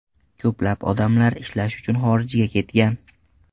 Ko‘plab odamlar ishlash uchun xorijga ketgan.